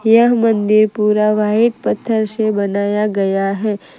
यह मंदिर पूरा वाइट पत्थर से बनाया गया है।